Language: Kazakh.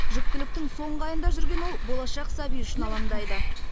жүктіліктің соңғы айында жүрген ол болашақ сәбиі үшін алаңдайды